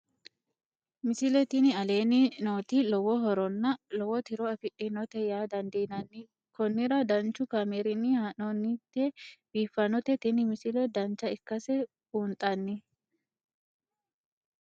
misile tini aleenni nooti lowo horonna lowo tiro afidhinote yaa dandiinanni konnira danchu kaameerinni haa'noonnite biiffannote tini misile dancha ikkase buunxanni